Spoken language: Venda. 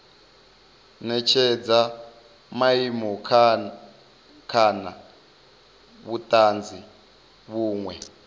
netshedza maimo kana vhutanzi vhunwe